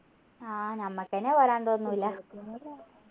ആഹ് നമ്മൾക്കെന്നെ വരാൻ തോന്നൂല